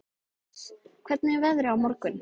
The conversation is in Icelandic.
Sakarías, hvernig er veðrið á morgun?